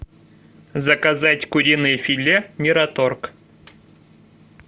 заказать куриное филе мираторг